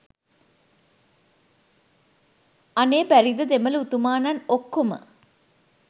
අනේ බැරිද දෙමළ උතුමානන් ඔක්කොම